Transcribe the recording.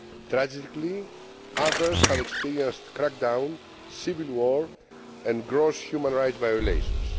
Tragically, others have experienced crackdowns, civil war and gross human rights violations.